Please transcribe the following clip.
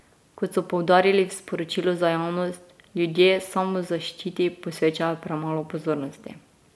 Kot so poudarili v sporočilu za javnost, ljudje samozaščiti posvečajo premalo pozornosti.